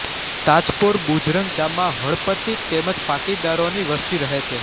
તાજપોર બુજરંગ ગામમાં હળપતિ તેમ જ પાટીદારોની વસ્તી રહે છે